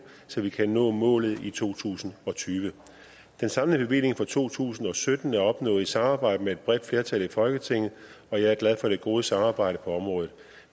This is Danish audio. så vi kan nå målet i to tusind og tyve den samlede bevilling for to tusind og sytten er opnået i et samarbejde med et bredt flertal i folketinget og jeg er glad for det gode samarbejde på området